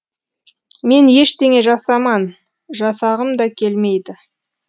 мен ештеңе жасаман жасағым да келмейді